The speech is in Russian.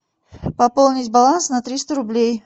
пополнить баланс на триста рублей